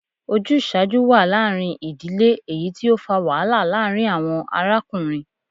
Ojuṣaju wa laarin idile, eyiti o fa wahala laarin awọn arakunrin